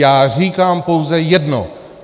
Já říkám pouze jedno: